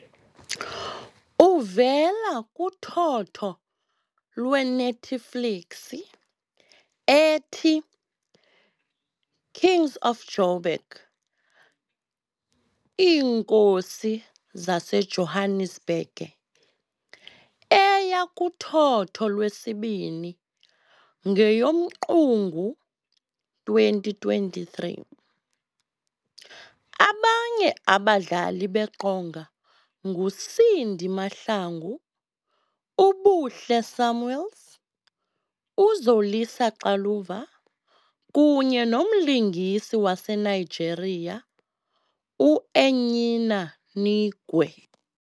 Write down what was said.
Uvela kuthotho lweNetflix ethi "Kings of Jo'burg" eya kuthotho lwesibini ngeyoMqungu 2023. Abanye abadlali beqonga nguCindy Mahlangu, uBuhle Samuels, uZolisa Xaluva kunye nomlingisi waseNigeria uEnyinna Nwigwe .